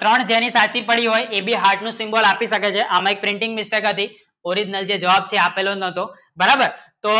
ત્રણ જેની સાચી પડી હોય એની heart ની symbol એવી શકે છે એમે printing mistake છે original જે જવાબ છે તે આપેલો નવતો બરાબર તો